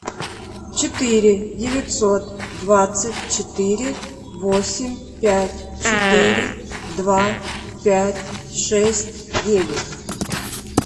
четыре девятьсот двадцать четыре восемь пять четыре два пять шесть девять